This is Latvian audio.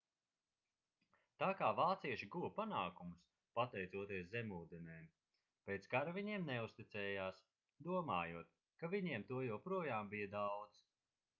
tā kā vācieši guva panākumus pateicoties zemūdenēm pēc kara viņiem neuzticējās domājot ka viņiem to joprojām bija daudz